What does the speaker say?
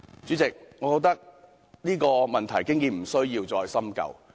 主席，我認為這個問題已無須再深究。